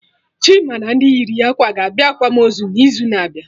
Chima na ndị yiri ya ákwà ga-abịa akwamozu n'izu na abịa